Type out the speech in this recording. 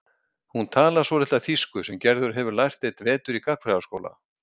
Hún talar svolitla þýsku sem Gerður hefur lært einn vetur í gagnfræðaskóla.